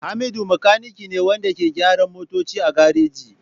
Hamidu makanike ne wanda ke gyaran motoci a gareji.